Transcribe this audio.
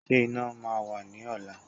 Ṣé iná máa wà ní ọ̀la?